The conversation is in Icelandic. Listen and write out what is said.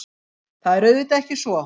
Það er auðvitað ekki svo